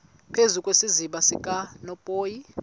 phezu kwesiziba sikanophoyi